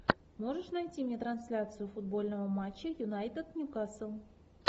можешь найти мне трансляцию футбольного матча юнайтед ньюкасл